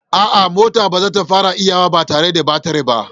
A'a, motar ba za ta iya farawa ba tare da batir ba.